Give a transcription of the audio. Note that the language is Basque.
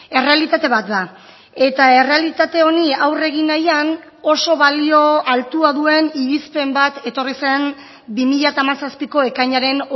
errealitate bat da eta errealitate honi aurre egin nahian oso balio altua duen irizpen bat etorri zen bi mila hamazazpiko ekainaren